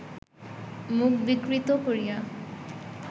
মুখ বিকৃত করিয়া